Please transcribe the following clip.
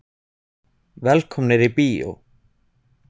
Velkomnir í bíó.